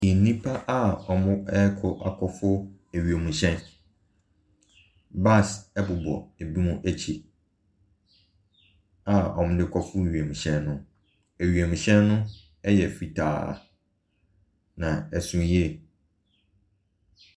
Nnipa a ɔrekɔ akɔ foro wiemuhyɛn. Bags ɛbobɔ ebinom nom akyi a wɔde kɔ foro wiemuhyɛn no. wiemuhyɛn no yɛ fitaa na ɛso yie.